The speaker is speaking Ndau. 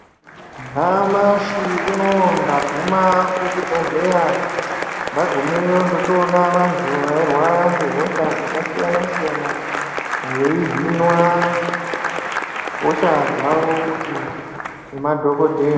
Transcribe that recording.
Nyamashi unowu ndaguma kuchibhedhlera ndagumewo ndochoona vantu vairwara ngehosha dzakasiyana siyana veyihinwa hosha dzavo kuti nemadhokodhera.